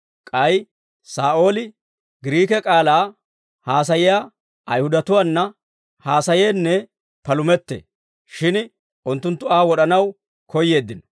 K'ay Saa'ooli Giriike k'aalaa haasayiyaa Ayihudatuwaana haasayeenne palumettee; shin unttunttu Aa wod'anaw koyyeeddino.